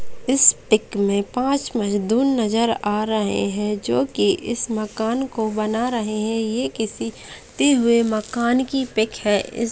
इस पिक में पांच मजदूर नजर आ रहे हैं जो की इस मकान को बना रहे हैं ये किसी ते हुए मकान की पिक है।